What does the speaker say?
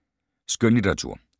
Skønlitteratur